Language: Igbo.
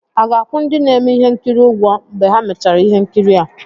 A ga-akwụ ndị na-eme ihe nkiri ụgwọ mgbe ha mechara ihe nkiri a?